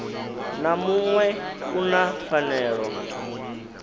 na muṅwe u na pfanelo